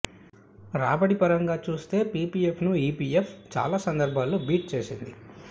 రాబడి పరంగా చూస్తే పీపీఎఫ్ను ఈపీఎఫ్ చాలా సందర్భాల్లో బీట్ చేసింది